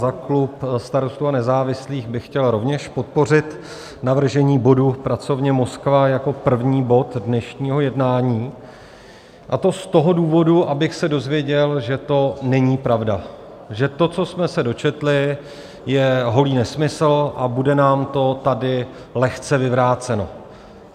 Za klub Starostů a nezávislých bych chtěl rovněž podpořit navržení bodu, pracovně Moskva, jako první bod dnešního jednání, a to z toho důvodu, abych se dozvěděl, že to není pravda, že to, co jsme se dočetli, je holý nesmysl a bude nám to tady lehce vyvráceno.